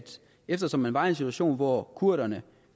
eftersom man var i en situation hvor kurderne